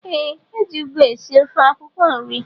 Ee eji ụgụ esị ofe akwụkwo nri.